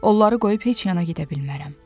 Onları qoyub heç yana gedə bilmərəm.